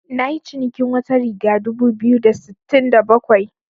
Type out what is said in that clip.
Nayi cinikin wata riga dubu biyu da sittin da bakwai.